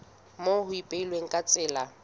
moo ho ipehilweng ka tsela